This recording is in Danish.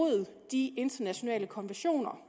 de internationale konventioner